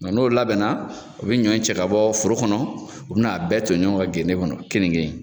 N'o labɛnna u bi ɲɔ in cɛ ka bɔ foro kɔnɔ, u bin'a bɛɛ to ɲɔgɔn kan genden kɔnɔ kenike in